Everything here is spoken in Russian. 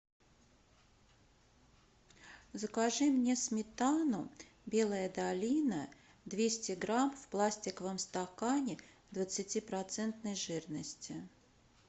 закажи мне сметану белая долина двести грамм в пластиковом стакане двадцати процентной жирности